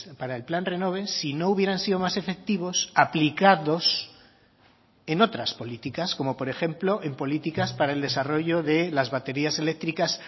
para el plan renove si no hubieran sido más efectivos aplicados en otras políticas como por ejemplo en políticas para el desarrollo de las baterías eléctricas